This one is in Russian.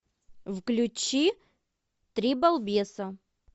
включи три балбеса